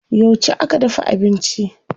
Yauce aka dafa abinci?